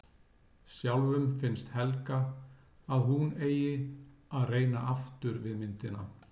Sjálfum finnst Helga að hún eigi að reyna aftur við myndina.